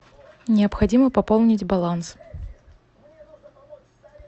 необходимо пополнить баланс